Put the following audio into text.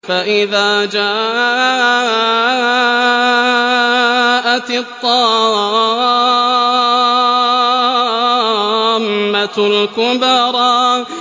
فَإِذَا جَاءَتِ الطَّامَّةُ الْكُبْرَىٰ